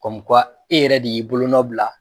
Kɔm e yɛrɛ de y'i bolo nɔ bila